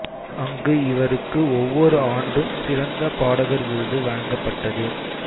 அங்கு இவருக்கு ஒவ்வொரு ஆண்டும் சிறந்த பாடகர் விருது வழங்கப்பட்டது